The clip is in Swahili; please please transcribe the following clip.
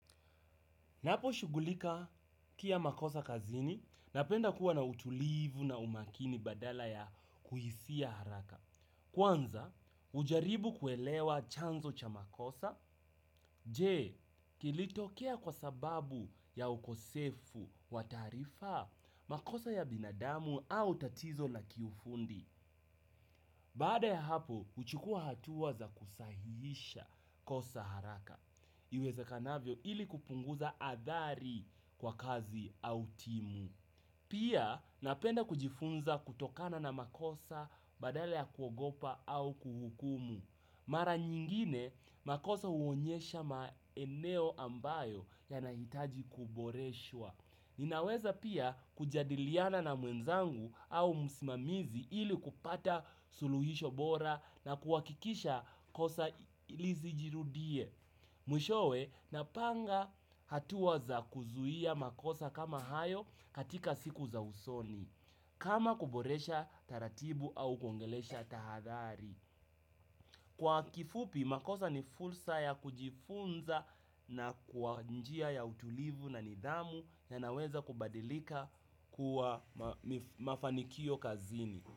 Naposhughulka kia makosa kazini, napenda kuwa na utulivu na umakini badala ya kuhisia haraka. Kwanza, hujaribu kuelewa chanzo cha makosa, je, kilitokea kwa sababu ya ukosefu wa tarifa, makosa ya binadamu au tatizo na kifundi. Baada ya hapo, huchukua hatua za kusahihisha kosa haraka. Iwezekanavyo ili kupunguza athari kwa kazi au timu. Pia, napenda kujifunza kutokana na makosa badala ya kuogopa au kuhukumu. Mara nyingine, makosa huonyesha maeneo ambayo yanahitaji kuboreshwa. Ninaweza pia kujadiliana na mwenzangu au msimamizi ili kupata suluhisho bora na kuhakikisha kosa lisijirudie. Mwishowe napanga hatua za kuzuia makosa kama hayo katika siku za usoni, kama kuboresha taratibu au kuongelesha tahadari. Kwa kifupi makosa ni fursa ya kujifunza na kwa njia ya utulivu na nidhamu yanaweza kubadilika kuwa mafanikio kazini.